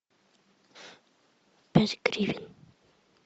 пять гривен